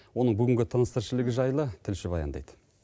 оның бүгінгі тыныс тіршілігі жайлы тілші баяндайды